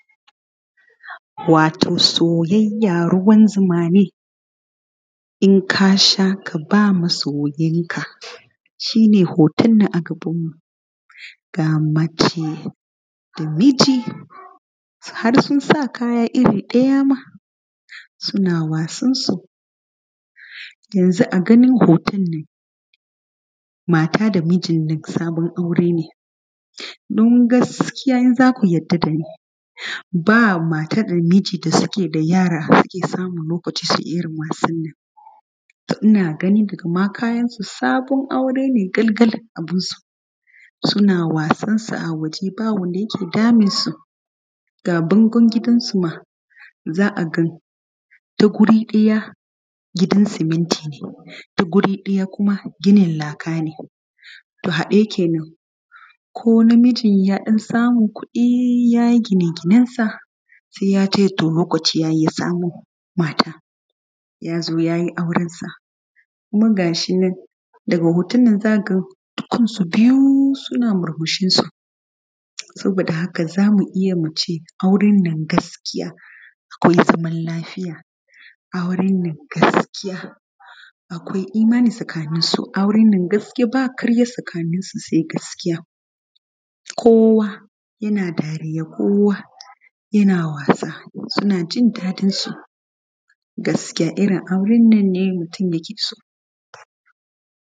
Wato soyayya ruwan zuma ne in ka sha ka ba masoyinka shi ne hoton nan a gaban ga mace da miji har suna sa kaya iri ɗaya suna wasansu yanzu a ganin hoton nan mata da mijinnan sabon aure ne don gaskiya idan zaku yarda dani ba mata da mijin da suke da yara har suke samun lokacin wasannan. To, ina ma gani daga kayansu sabon aure ne abunsu suna wasansu a waje ba wanda yake damunsu da bangun gidansu ma za a ga ta wuri ɗaya gidan simintine ta wuri ɗaya kuma ginin lakane to haɗe kenan ko na mijin ya samu kudi yayi gine ginensa sai yace lokaci yayi yasamu mata yazo yayi aurensa kuma gashinan daga hotonnan zakaga su biyu suna murmushinsu sabo da haka zamu iya muce aurennan gaskiya akwai zaman lafiya aurennan gaskiya akwai imani tsakaninsu aurennan gaskiya ba ƙarya tsakaninsu sai gaskiya kowa yana dariya kowa yana wasa sunajin daɗinsu gaskiya irin aurennan mutun yake so.